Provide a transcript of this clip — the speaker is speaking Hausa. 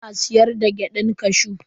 Ina siyar da gyadan kashew.